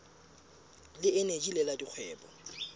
le eneji le la dikgwebo